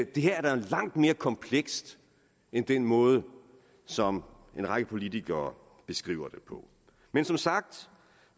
det her er da langt mere komplekst end den måde som en række politikere beskriver det på men som sagt